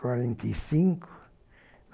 Quarenta e cinco.